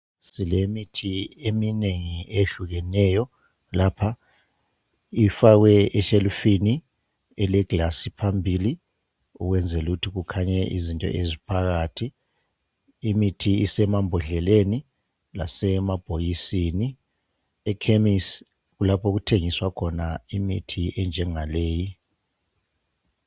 Silemithi eminengi ehlukeneyo lapha ifakwe eshelufini elegilasi phambili ukwenzela ukuthi kukhanye izinto eziphakathi. Imithi usemambodleleni lasemabhokiseni. Ekhemisi kulapho okuthengiswa khona imithi enjengaleyi.